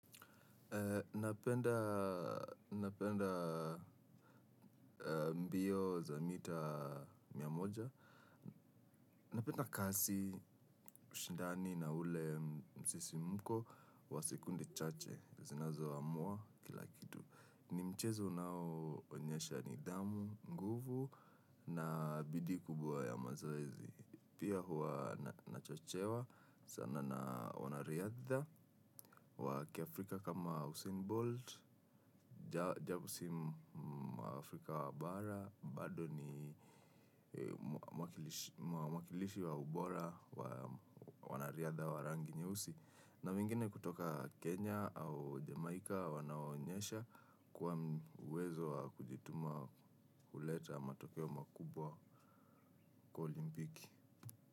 Napenda mbio za mita miamoja. Napenda kasi, shindani na ule msisimuko wa sekunde chache. Zinazo amua kila kitu. Ni mchezo unao onyesha nidhamu, nguvu na bidii kubwa ya mazoezi. Pia huwa nachochewa sana na wanariadha wa kiafrika kama Hussein Bolt. Japo si mwafrika wa bara, bado ni mwakilishi wa ubora, wa wanariadha wa rangi nyeusi. Na wengine kutoka Kenya au Jamaica wanaonyesha kuwa uwezo wa kujituma huleta matokeo makubwa kwa olimpiki.